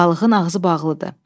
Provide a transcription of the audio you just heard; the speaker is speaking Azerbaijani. Balığın ağzı bağlıdır.